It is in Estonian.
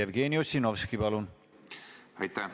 Jevgeni Ossinovski, palun!